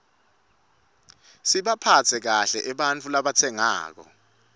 sibaphatse kahle ebarfu rabatsenqako